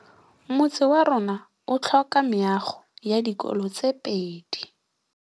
Motse warona o tlhoka meago ya dikolô tse pedi.